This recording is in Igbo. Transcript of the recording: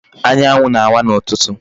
Anyanwu na-awa n'ututu.